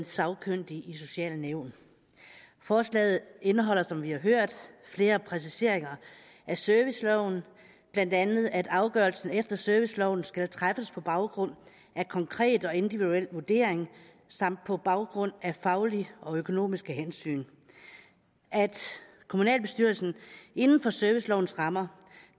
sagkyndige i sociale nævn forslaget indeholder som vi har hørt flere præciseringer af serviceloven blandt andet at afgørelse efter serviceloven skal træffes på baggrund af konkret og individuel vurdering samt på baggrund af faglige og økonomiske hensyn og at kommunalbestyrelsen inden for servicelovens rammer